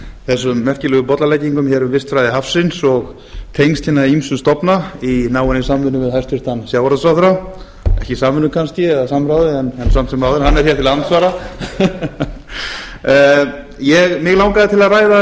þessum merkilegu bollaleggingum hér um vistfræði hafsins og tengsl hinna ýmsu stofna í náinni samvinnu við hæstvirtan sjávarútvegsráðherra ekki samvinnu kannski eða samráði en samt sem áður hann er hér til andsvara mig langaði til að